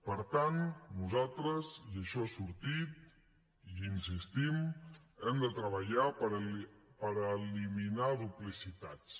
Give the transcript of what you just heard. per tant nosaltres i això ha sortit i hi insistim hem de treballar per eliminar duplicitats